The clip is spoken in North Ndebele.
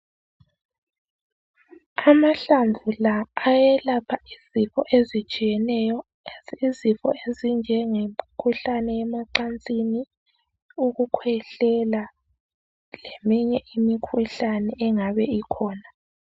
Amahlamvu la ayelapha izifo ezitshiyeneyo, lezi izifo ezinjengemkhuhlane yemacansini, ukukhwehlela leminye imikhuhlane engabe ikhona.